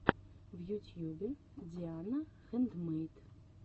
в ютьюбе диана хэндмэйд